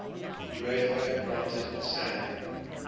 uefa granted san